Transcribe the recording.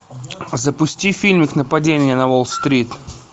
запусти фильм нападение на уолл стрит